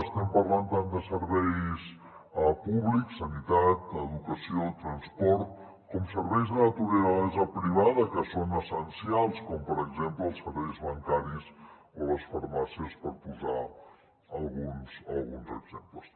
estem parlant tant de serveis públics sanitat educació transport com de serveis de naturalesa privada que són essencials com per exemple els serveis bancaris o les farmàcies per posar ne alguns exemples